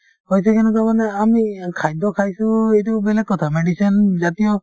হৈছে কেনেকুৱা মানে আমি খাদ্য খাইছো সেইটো বেলেগ কথা medicine জাতীয়